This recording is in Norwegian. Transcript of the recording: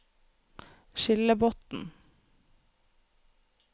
Skillebotn